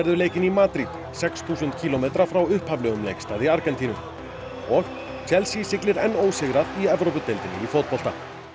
leikinn í Madrid sex þúsund kílómetra frá upphaflegum leikstað í Argentínu og Chelsea siglir enn ósigrað í Evrópudeildinni í fótbolta